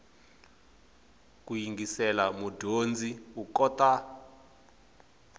ku yingisela mudyondzi u kota